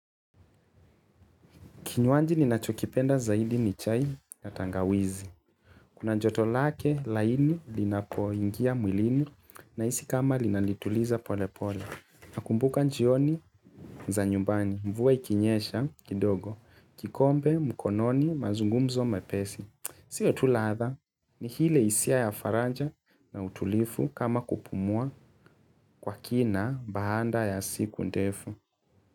Kinywaji ni nachokipenda zaidi ni chai ya tangawizi. Kuna joto lake laini linapo ingia mwilini nahisi kama linalituliza pole pole. Nakumbuka njioni za nyumbani mvua ikinyesha kidogo. Kikombe mkononi mazungumzo mepesi. Sio tu ladha ni ile isia ya faraja na utulifu kama kupumua kwa kina baanda ya siku ndefu.